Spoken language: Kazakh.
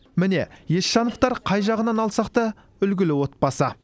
міне есжановтар қай жағынан алсақ та үлгілі отбасы